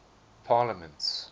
parliaments